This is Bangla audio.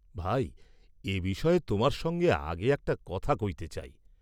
ভাই এ বিষয়ে তোমার সঙ্গে আগে একটা কথা কইতে চাই।